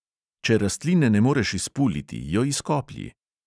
Če rastline ne moreš izpuliti, jo izkoplji.